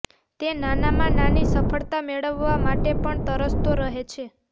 તે નાનામાં નાની સફળતા મેળવવા માટે પણ તરસતો રહે છે